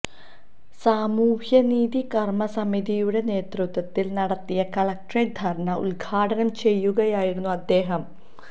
സാമൂഹ്യനീതി കര്മ്മസമിതിയുടെ നേതൃത്വത്തില് നടത്തിയ കളക്ട്രേറ്റ് ധര്ണ ഉദ്ഘാടനം ചെയ്യുകയായിരുന്നു അദ്ദേഹം